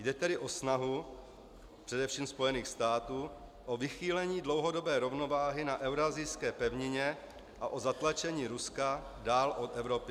Jde tedy o snahu především Spojených států o vychýlení dlouhodobé rovnováhy na euroasijské pevnině a o zatlačení Ruska dál od Evropy.